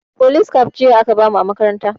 Folis kaf aka bamu jiya a makaranta